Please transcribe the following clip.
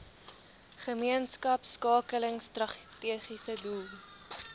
gemeenskapskakeling strategiese doel